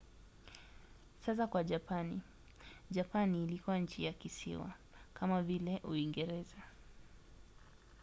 sasa kwa japani. japani ilikuwa nchi ya kisiwa kama vile uingereza